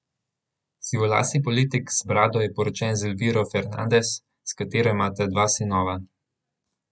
Sivolasi politik z brado je poročen z Elviro Fernandez, s katero imata dva sinova.